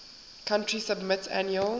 country submit annual